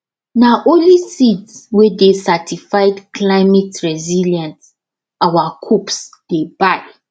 na only seeds wey dey certified cliemateresilient our coops dey buy